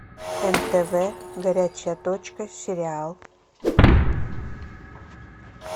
нтв горячая точка сериал